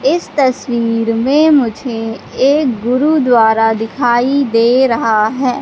इस तस्वीर में मुझे एक गुरुद्वारा दिखाई दे रहा है।